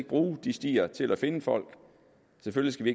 bruge de stier til at finde folk selvfølgelig